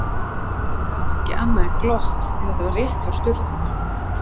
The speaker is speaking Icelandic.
Og ég gat ekki annað en glott, því þetta var rétt hjá Sturlu